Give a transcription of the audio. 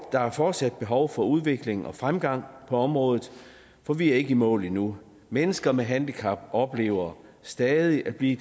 der er fortsat behov for udvikling og fremgang på området for vi er ikke i mål endnu mennesker med handicap oplever stadig at blive